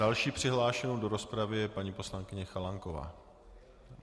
Další přihlášenou do rozpravy je paní poslankyně Chalánková.